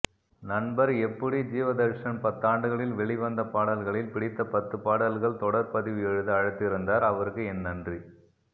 நண்பர் எப்பூடி ஜீவதர்ஷன் பத்தாண்டுகளில் வெளிவந்த பாடல்களில் பிடித்தபத்து பாடல்கள் தொடர் பதிவு எழுத அழைத்திருந்தார் அவருக்கு என் நன்றி